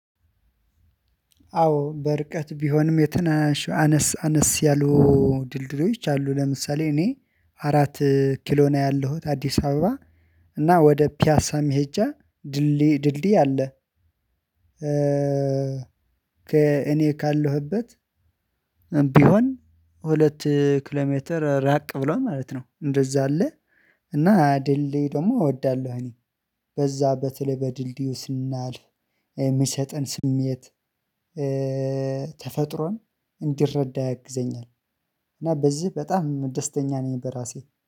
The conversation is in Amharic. አዎ በርቀት ቢሆንም የትናሽ አነስ አነስ ያሉ ድልድሎች አሉ ለምሳሌ እኔ አራት ኪሎ ነው ያለሁት አዲስ አበባ እና ወደ ፒያሳ መሄጃ ድልድይ አለ። እኔ ካለሁበት ብሆን ሁለት ኪሎ ሜትር ራቅ ብሎ ማለት ነው እንደዛ አለ። እና ድልድይ ደግሞ እወዳለሁ እኔ በዛ በተለይ በድልድዩ ስናልፍ የሚሰጠን ስሜት ተፈጥሮን እንዲረዳ ያግዘኛል እና በዚህ በጣም ደስተኛ ነኝ በራሴ።